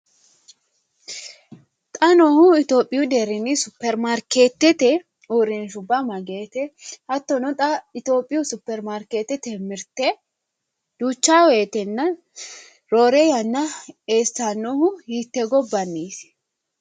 xa noohu itophiyu deerrinni superimaarkeetete uurrinshubba mageete? hattono xa itophiyu superimaarkeetete mirte duucha woyiitenna roore yanna Eessannohu hiittee gobbanniiti?